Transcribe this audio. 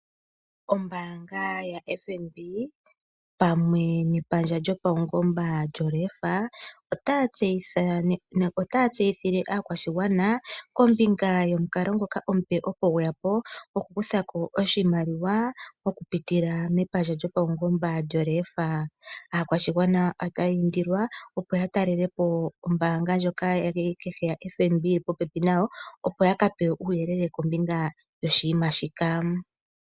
Ombaanga yaFNB pamwe nepandja lyopaungomba lyoLEFA , otaya tseyithile aakwashigwana kombinga yomukalo ngoka omupe opo gwe ya po, gwokukutha ko oshimaliwa okupitila mepandja lyopaungomba lyoLEFA. Aakwashigwana otaya indilwa opo ya talele po ombaanga ndjoka kehe yaFNB opo ya ka pewe uuyelele kombinga yoshiima shika.